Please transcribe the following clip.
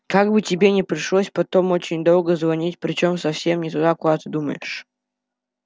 как бы тебе не пришлось потом очень долго звонить причём совсем не туда куда ты думаешь